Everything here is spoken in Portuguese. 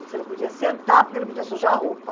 Você não podia sentar porque não podia sujar a roupa.